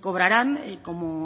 cobrarán como